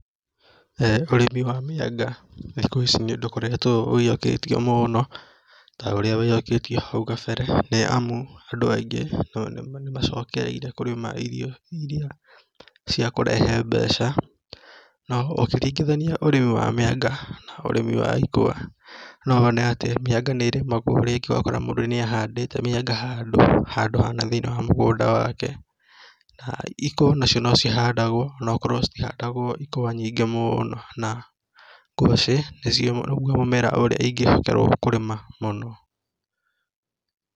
ũrĩmi wa mĩanga thikũ ici nĩũkoretwo ũiyũkĩtio mũno, ta ũrĩa waiyũkĩtio hau kabere nĩ amu andũ aingĩ nĩ macokereire irio iria cia kũrehe mbeca. Na ũngĩringithania ũrĩmi wa mĩanga na wa ikwa, no wone atĩ mĩanga nĩ ĩrĩmagwo ũgakora mũndũ nĩ ahandĩte mĩanga handũ hana thĩinĩ wa mũgũnda wake, na ikwa nacio no cihandagwo ona akorwo citihandagwo nyingĩ mũno na, ngwacĩ nĩguo mũmera ũrĩa ingĩhokerwo kũrĩma mũno.